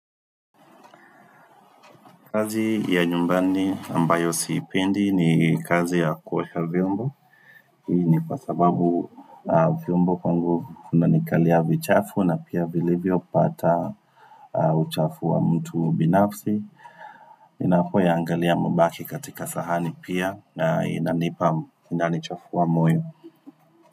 Kazi ya nyumbani ambayo sipendi ni kazi ya kuosha vyombo Hii ni kwa sababu vyombo kwangu vinanikalia vichafu na pia vilivyopata uchafu wa mtu binafsi Ninapo yangalia mabaki katika sahani pia na inanipa inani chafua moyo.